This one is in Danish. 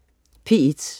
P1: